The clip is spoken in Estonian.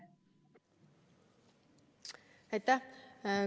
Aitäh!